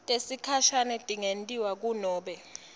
tesikhashane tingentiwa kunobe